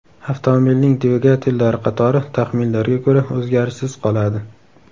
Avtomobilning dvigatellari qatori, taxminlarga ko‘ra, o‘zgarishsiz qoladi.